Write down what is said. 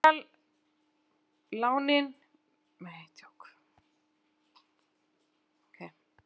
Bílalánin misjafnlega dýr